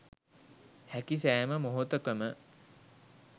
හැකි සෑම මොහොතකම